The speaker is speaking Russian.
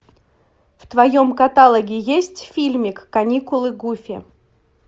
в твоем каталоге есть фильмик каникулы гуффи